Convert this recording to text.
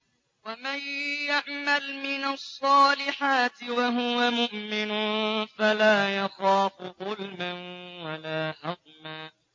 وَمَن يَعْمَلْ مِنَ الصَّالِحَاتِ وَهُوَ مُؤْمِنٌ فَلَا يَخَافُ ظُلْمًا وَلَا هَضْمًا